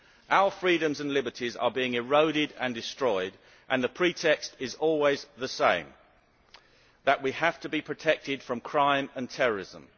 Our freedoms and liberties are being eroded and destroyed, and the pretext is always the same that we have to be protected from crime and terrorism.